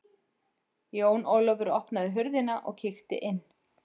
Jón Ólafur opnaði hurðina og kíkti inn.